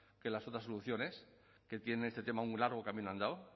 que las otras soluciones que tienen en este tema un largo camino andado